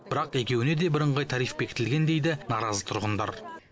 бірақ екеуіне де бірыңғай тариф бекітілген дейді наразы тұрғындар